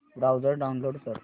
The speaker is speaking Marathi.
ब्राऊझर डाऊनलोड कर